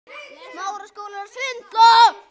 Þetta stóð ekkert til.